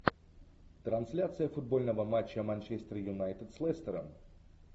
трансляция футбольного матча манчестер юнайтед с лестером